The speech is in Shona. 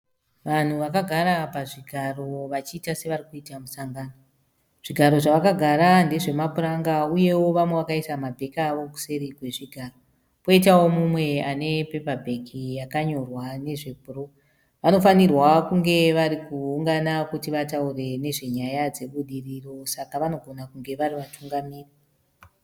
Vanhu vakagara pazvigaro vachiita sevarikuita musangano. Zvigaro zvavakagara ndezvamapuranga uyewo vamwe vakaisa ma bhegi avo kuseri kwezvigaro . Koitawo mumwe ane pepa bhegi yakanyorwa nezve bhuruu. Vanofanirwa kunge varikuungana kuti vataure nezvenyaya dzebudiriro, saka vanogona kunge vari vatungamiri .